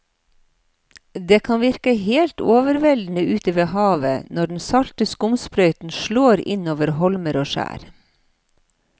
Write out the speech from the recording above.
Det kan virke helt overveldende ute ved havet når den salte skumsprøyten slår innover holmer og skjær.